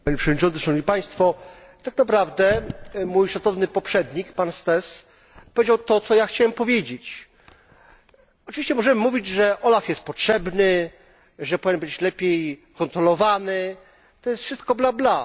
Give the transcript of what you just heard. Panie Przewodniczący! Tak naprawdę mój szacowny poprzednik pan Staes powiedział to, co ja chciałem powiedzieć. Oczywiście możemy mówić, że OLAF jest potrzebny, że powinien być lepiej kontrolowany to jest wszystko bla, bla.